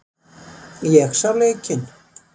Ég sá leikinn.